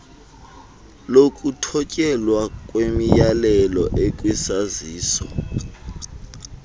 lokuthotyelwa kwemiyalelo ekwisaziso